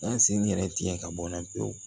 An sen yɛrɛ tigɛ ka bɔna pewu